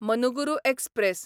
Manuguru express